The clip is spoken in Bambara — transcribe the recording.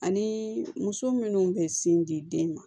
Ani muso minnu bɛ sin di den ma